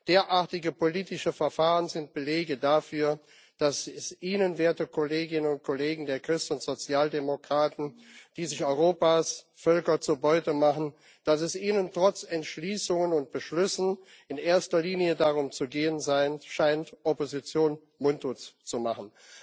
Derartige politische Verfahren sind Belege dafür, dass es Ihnen, werte Kolleginnen und Kollegen der Christ und Sozialdemokraten, die sich Europas Völker zur Beute machen, trotz Entschließungen und Beschlüssen in erster Linie darum zu gehen scheint, Opposition mundtot zu machen.